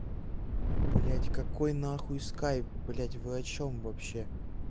блять какой нахуй скайп блять вы о чем вообще